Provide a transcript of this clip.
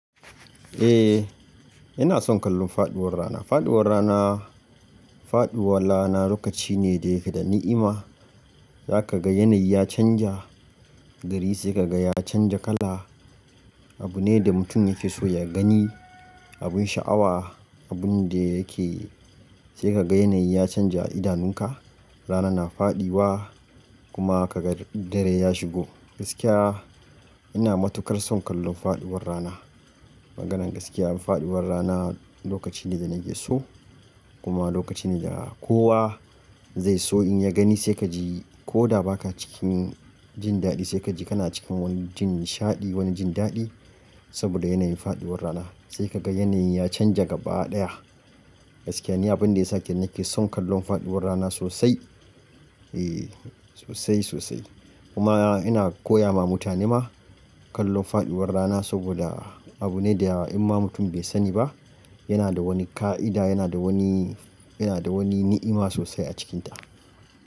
Eh, ina son kallon faduwar rana. Faduwar rana, faduwar rana lokaci ne da yake da ni'ima. Eh, ina son kallon faduwar rana. Faduwar rana, faduwar rana lokaci ne da yake da ni'ima. Za ka ga yanayi ya canja Abu ne da mutum yake so ya gani, abin sha'awa, abun da yake sai ka ga yanayi ya canja idanunka. Rana na faɗuwa kuma kaga dare ya shigo. Gaskiya ina matukar son kallon faɗuwar rana. Maganan gaskiya abin faɗuwar rana lokaci ne da nake so kuma lokaci ne da kowa zai so in ya gani sai kaji koda baka cikin jin daɗi sai kaji kana cikin wani jin nishaɗi wani jin daɗi saboda yanayin faɗuwar rana sai ka ga yanayi ya canja gaba ɗaya. Gaskiya ni abun da yasa nake son kallon faɗuwar rana sosai. Eh sosai sosai kuma ina koya ma mutane ma kallon faduwar rana saboda abu ne da in ma mutum bai sani ba yana da wani ka'ida yana da wani, yana da wani ni'ima sosai a cikinta.